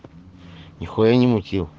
нихуя не мутил